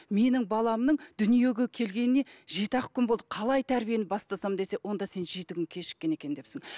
менің баламның дүниеге келгеніне жеті ақ күн болды қалай тәрбиені бастасам десе онда сен жеті күн кешіккен екен депсің